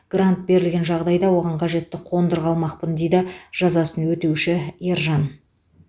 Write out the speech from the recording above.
грант берілген жағдайда оған қажетті қондырғы алмақпын дейді жазасын өтеуші ержан